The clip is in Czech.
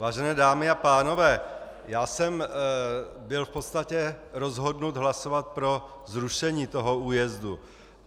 Vážené dámy a pánové, já jsem byl v podstatě rozhodnut hlasovat pro zrušení toho újezdu.